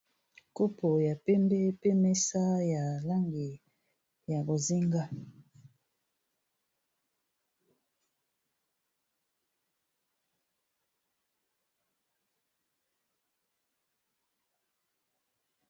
Kopo ya pembe pe mesa ya langi ya bozenga.